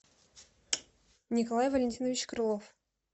николай валентинович крылов